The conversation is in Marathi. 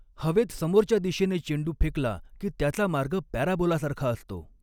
हवेत समोरच्या दिशेने चेंडू फेकला की त्याचा मार्ग पॅराबोलासारखा असतो.